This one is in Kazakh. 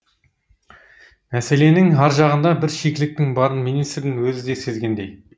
мәселенің ар жағында бір шикіліктің барын министрдің өзі де сезгендей